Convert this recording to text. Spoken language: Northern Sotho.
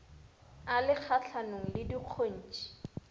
a le kgahlanong le dikgontšhi